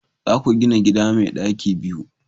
za ku gina gida mai daki biyu!